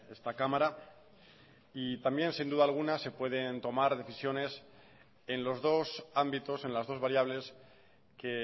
esta cámara y también sin duda alguna se pueden tomar decisiones en los dos ámbitos en las dos variables que